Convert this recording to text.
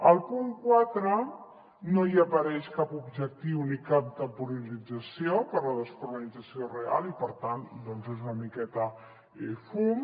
al punt quatre no hi apareix cap objectiu ni cap temporalització per a la descarbonització real i per tant doncs és una miqueta fum